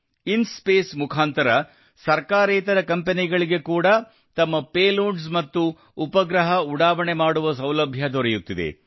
IN-SPACe ಮುಖಾಂತರ ಸರ್ಕಾರೇತರ ಕಂಪೆನಿಗಳಿಗೆ ಕೂಡಾ ತಮ್ಮ ಪೇಲೋಡ್ಸ್ ಮತ್ತು ಉಪಗ್ರಹ ಉಡಾವಣೆ ಮಾಡುವ ಸೌಲಭ್ಯ ದೊರೆಯುತ್ತಿದೆ